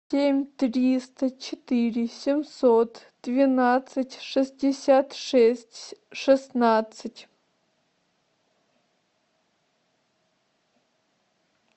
семь триста четыре семьсот двенадцать шестьдесят шесть шестнадцать